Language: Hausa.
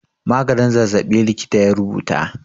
Maganin zazzaɓi likita ya rubuta.